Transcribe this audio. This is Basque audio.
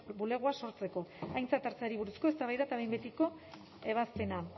bulegoa sortzeko aintzat hartzeari buruzko eztabaida eta behin betiko ebazpena